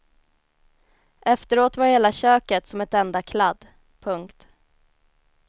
Efteråt var hela köket som ett enda kladd. punkt